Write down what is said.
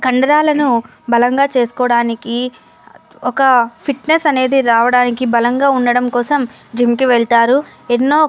కండరాలను బలంగా చేస్కోవాడానికి ఒక ఫిట్నెస్ అనేది రావడానికి బలంగా ఉండడం కోసం జిం కి వెళ్తారు. ఎన్నో --